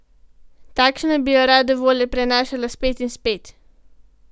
Takšna, da bi jo rade volje prenašala spet in spet.